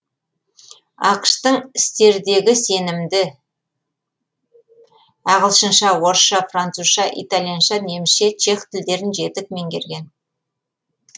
ақш тың істердегі сенімді ағылшынша орысша французша итальянша немісше чех тілдерін жетік менгерген